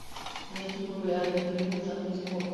найти популярные фильмы в жанре спорт